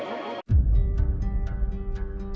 við